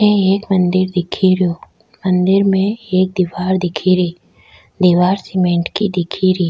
अठ एक मंदिर दिख रो मंदिर में एक दिवार दिख री दिवार सीमेंट की दिख री।